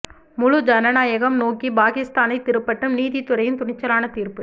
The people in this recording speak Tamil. முழு ஜனநாயகம் நோக்கி பாகிஸ்தானைத் திருப்பட்டும் நீதித் துறையின் துணிச்சலான தீர்ப்பு